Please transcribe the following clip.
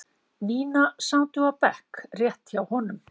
Nína sátu á bekk rétt hjá honum.